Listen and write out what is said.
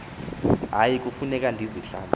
hayi kufuneka ndizihlambe